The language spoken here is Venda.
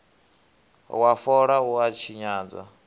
wa fola u a tshinyadza